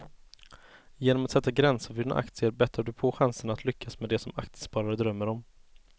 Genom att sätta gränser för dina aktier bättrar du på chanserna att lyckas med det som aktiesparare drömmer om.